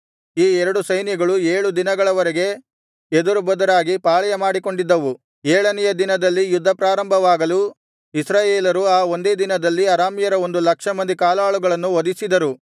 ಈ ಎರಡು ಸೈನ್ಯಗಳು ಏಳು ದಿನಗಳ ವರೆಗೆ ಎದುರುಬದುರಾಗಿ ಪಾಳೆಯ ಮಾಡಿಕೊಂಡಿದ್ದವು ಏಳನೆಯ ದಿನದಲ್ಲಿ ಯುದ್ಧ ಪ್ರಾರಂಭವಾಗಲು ಇಸ್ರಾಯೇಲರು ಆ ಒಂದೇ ದಿನದಲ್ಲಿ ಅರಾಮ್ಯರ ಒಂದು ಲಕ್ಷ ಮಂದಿ ಕಾಲಾಳುಗಳನ್ನು ವಧಿಸಿದರು